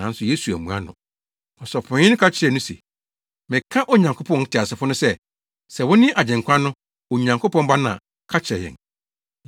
Nanso Yesu ammua no. Ɔsɔfopanyin no ka kyerɛɛ no se, “Meka Onyankopɔn teasefo no sɛ, sɛ wone Agyenkwa no, Onyankopɔn Ba no a, ka kyerɛ yɛn!”